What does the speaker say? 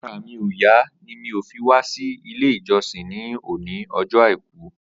Àrà mi ó yà ni mi ò fi wà si ilé ijọsin ni óni ọjọ áikù